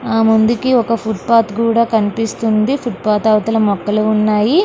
ఆ ముందుకి ఒక ఫుట్ పాత్ కూడా కనిపిస్తుంది. ఫుట్ పాత్ అవతల మొక్కలు ఉన్నాయి.